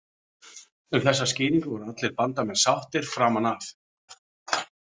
Um þessa skýringu voru allir Bandamenn sáttir framan af.